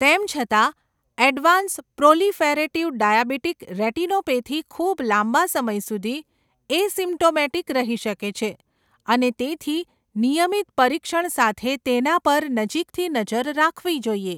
તેમ છતાં, advance proliferative diabetic retinopathy ખૂબ લાંબા સમય સુધી એસિમ્પ્ટોમેટિક રહી શકે છે, અને તેથી નિયમિત પરીક્ષણ સાથે તેના પર નજીકથી નજર રાખવી જોઈએ.